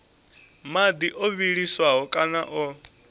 madi o vhiliswaho kana o